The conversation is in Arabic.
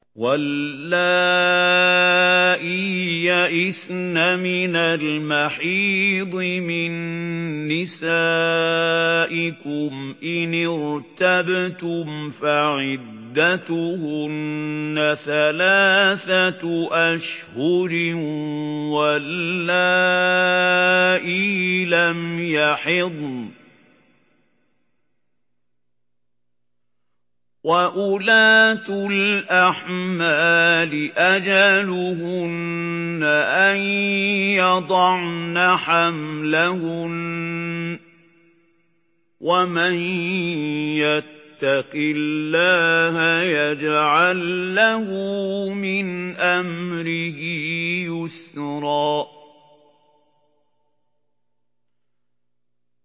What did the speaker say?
وَاللَّائِي يَئِسْنَ مِنَ الْمَحِيضِ مِن نِّسَائِكُمْ إِنِ ارْتَبْتُمْ فَعِدَّتُهُنَّ ثَلَاثَةُ أَشْهُرٍ وَاللَّائِي لَمْ يَحِضْنَ ۚ وَأُولَاتُ الْأَحْمَالِ أَجَلُهُنَّ أَن يَضَعْنَ حَمْلَهُنَّ ۚ وَمَن يَتَّقِ اللَّهَ يَجْعَل لَّهُ مِنْ أَمْرِهِ يُسْرًا